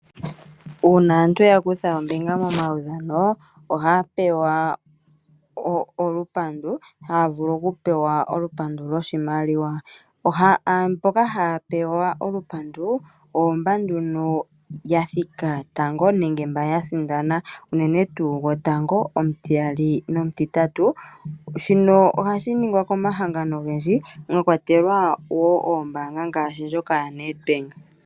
Uuna aantu ya kutha ombinga momaudhano ohaya pewa olupandu, haya vulu oku pewa olupandu loshimaliwa. Aantu mboka haya pewa olupandu oyo mba nduno ya thika tango nenge mba ya sindana, unene tuu gotango, omutiyali nomutitatu. Shino ohashi ningwa komahangano ogendji mwa kwatelwa wo oombaanga ngaashi ndjoka yaNedbank.